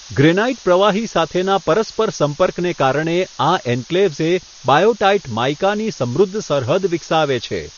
Granite પ્રવાહી સાથેના પરસ્પર સંપર્કને કારણે, આ એન્ક્લેવ્સે બાયોટાઈટ માઇકાની સમૃદ્ધ સરહદ વિકસાવે છે.